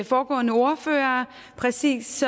foregående ordførere præcis